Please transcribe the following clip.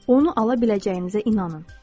Onu ala biləcəyinizə inanın.